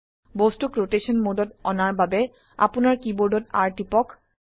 বস্তুক ৰোটেশন মোডত অনাৰ বাবে আপোনাৰ কীবোৰ্ডত R টিপক